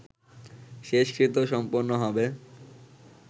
শেষকৃত্য সম্পন্ন হবে